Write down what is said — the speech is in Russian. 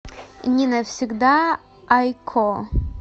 не навсегда айкко